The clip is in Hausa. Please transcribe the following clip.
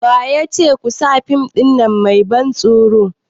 Wayace kusa fim ɗin nan mai ban tsoro?